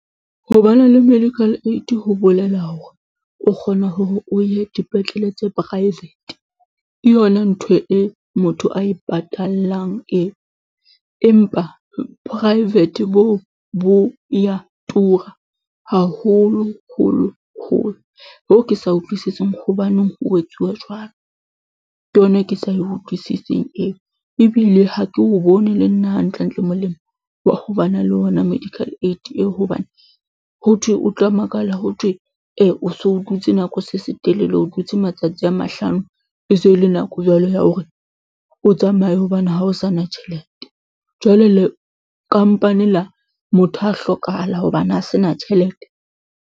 Ho ba na le medical aid ho bolela hore o kgona hore o ye dipetlele tse private. Ke yona ntho e motho a e patallang eo, empa private bo bo ya tura haholo holo holo. Ho ke sa utlwisising hobaneng ho etsuwa jwalo. Ke yona e ke sa e utlwisising eo, ebile ha ke o bone le nna hantlentle molemo wa ho ba na le ona medical aid eo hobane, ho thwe o tla makala ho thwe, e o so o dutse nako se se telele, o dutse matsatsi a mahlano e se e le nako jwalo ya hore o tsamaye hobane ha o sa na tjhelete. Jwale le kampane la motho a hlokahala hobane a se na tjhelete.